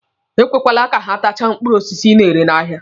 Ekwekwele ka ha tachaa mkpụrụ osisi ị na-ere n'ahịa.